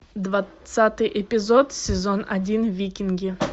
двадцатый эпизод сезон один викинги